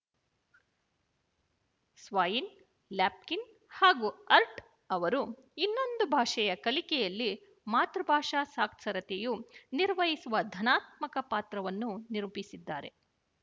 Swain Lapkin ಹಾಗೂ Hart ಅವರು ಇನ್ನೊಂದು ಭಾಷೆಯ ಕಲಿಕೆಯಲ್ಲಿ ಮಾತೃಭಾಷಾ ಸಾಕ್ಷರತೆಯು ನಿರ್ವಹಿಸುವ ಧನಾತ್ಮಕ ಪಾತ್ರವನ್ನು ನಿರೂಪಿಸಿದ್ದಾರೆ